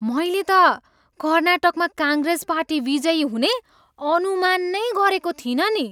मैले त कर्नाटकमा काङ्ग्रेस पार्टी विजयी हुने अनुमान नै गरेको थिइनँ नि।